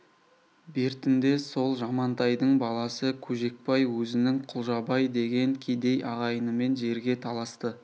бертінде сол жамантайдың баласы көжекбай өзінің құлжабай деген кедей ағайынымен жерге таласты